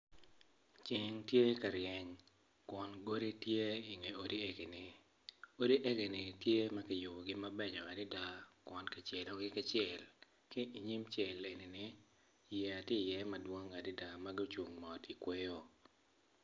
Ceng tye ka reny kun godi tye i nge godi eni odi eni gitye ma kiyubogi mabeco adada kun kicelogi ki cel ki i nyim cel enini yeya tye madwong adada ma gucung mot i kweyo.